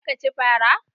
Za ka ci fara?